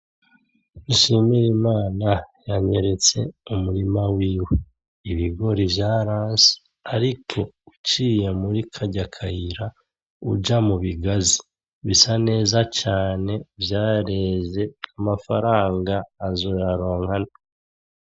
Dushimirimana yanyeretse umurima wiwe . Ibigori vyaranse ariko uciye muri karya kayira uja mubigazi bisa neza cane vyareze amafaranga azoyaronka.